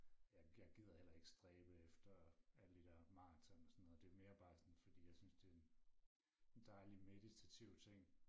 Jeg jeg gider heller ikke stræbe efter alle de der maraton og sådan noget det er mere bare sådan fordi jeg synes det er en en dejlig og meditativ ting